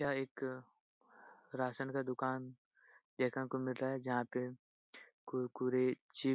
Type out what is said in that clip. यह एक राशन का दुकान देखने को मिल रहा है जहाँ पे कुरकुरे चि --